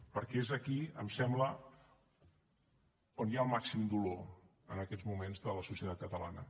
perquè és aquí em sembla on hi ha el màxim dolor en aquests moments de la societat catalana